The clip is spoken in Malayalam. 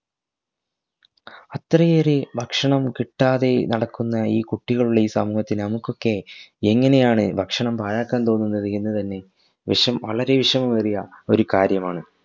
അത്രയേറെ ഭക്ഷണം കിട്ടാതെ നടക്കുന്ന ഈ കുട്ടികളുള്ള ഈ സമൂഹത്തിൽ നമുക്കൊക്കെ എങ്ങനെയാണ്‌ ഭക്ഷണം പാഴാക്കാൻ തോന്നുന്നത് എന്നത് തന്നെ വിഷം വളരെ വിഷമമേറിയ ഒരു കാര്യമാണ്